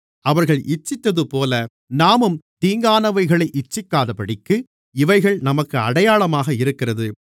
அவர்கள் இச்சித்ததுபோல நாமும் தீங்கானவைகளை இச்சிக்காதபடிக்கு இவைகள் நமக்கு அடையாளமாக இருக்கிறது